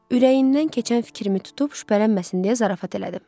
Ürəyindən keçən fikrimi tutub şübhələnməsin deyə zarafat elədim.